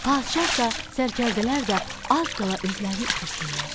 Padşah da, sərkərdələr də az qala özlərini itirsinlər.